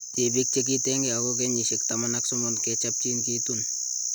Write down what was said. Tipik chekitenge oko ngeyisiek 13 kechapchin kitun